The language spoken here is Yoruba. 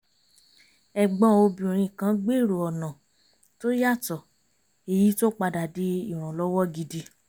ẹ̀gbọ́n obìnrin kan gbèrò ọ̀nà tó yàtọ̀ èyí tó padà di ìrànlọ́wọ́ gidi